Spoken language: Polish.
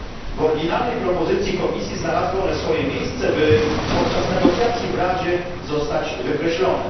W oryginalnej propozycji Komisji znalazły one swoje miejsce, by podczas negocjacji w Radzie zostać wykreślone.